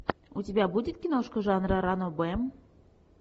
у тебя будет киношка жанра ранобэ